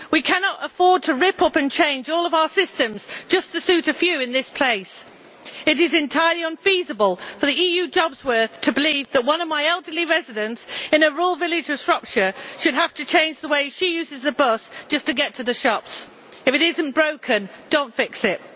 We cannot afford to rip up and change all of our systems just to suit a few in this place. It is entirely unfeasible for the EU jobsworths to believe that one of my elderly residents in a rural village of Shropshire should have to change the way she uses the bus just to get to the shops. If it is not broken, do not fix it.